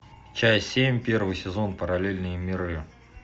часть семь первый сезон параллельные миры